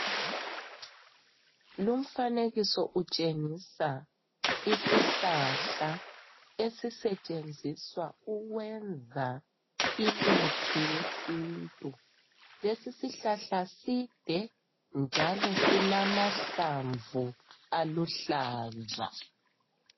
Lumfanekiso utshengisa isihlahla esisetshenziswa ukwenza imithi yesintu. Lesi sihlahla side njalo silamahlamvu aluhlaza.